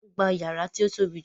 Wọ́n gba yàrá tí ó tóbi jù